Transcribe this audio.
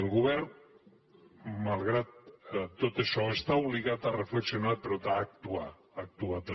el govern malgrat tot això està obligat a reflexionar però a actuar a actuar també